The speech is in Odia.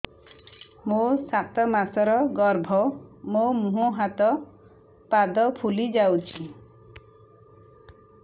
ମୋ ସାତ ମାସର ଗର୍ଭ ମୋ ମୁହଁ ହାତ ପାଦ ଫୁଲି ଯାଉଛି